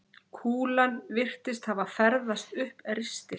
Kúlan virtist hafa ferðast upp ristil